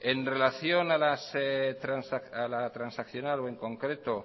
en relación a la transaccional o en concreto